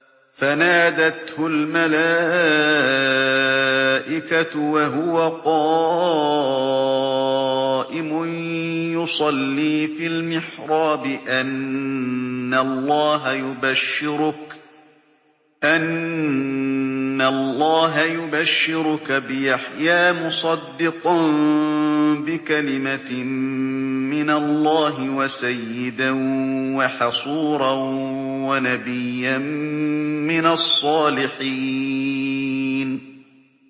فَنَادَتْهُ الْمَلَائِكَةُ وَهُوَ قَائِمٌ يُصَلِّي فِي الْمِحْرَابِ أَنَّ اللَّهَ يُبَشِّرُكَ بِيَحْيَىٰ مُصَدِّقًا بِكَلِمَةٍ مِّنَ اللَّهِ وَسَيِّدًا وَحَصُورًا وَنَبِيًّا مِّنَ الصَّالِحِينَ